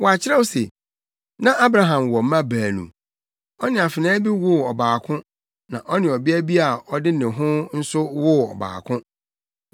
Wɔakyerɛw se, na Abraham wɔ mma baanu. Ɔne afenaa bi woo ɔbaako na ɔne ɔbea bi a ɔde ne ho nso woo ɔbaako.